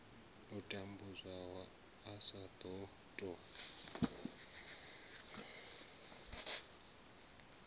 a tambudzwaho a sa ṱo